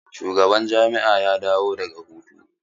Shugaban jami'a ya dawo daga hutu?